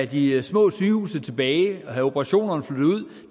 de små sygehuse tilbage og få operationerne flyttet ud